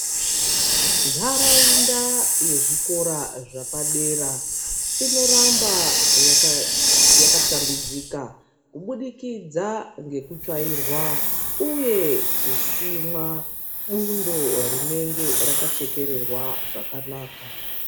Nharaunda yezvikora zvapadera inoramba yaka shambidzika kubudikidza ngekutswairwa, uye kusimwa bundo rinenge raka chekererwa zvakanaka.